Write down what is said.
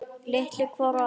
Litu hvor á annan.